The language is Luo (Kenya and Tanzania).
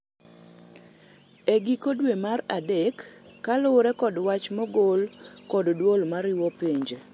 e giko dwe mar adek kaluwore kod wach mogol kod duol mariwo pinje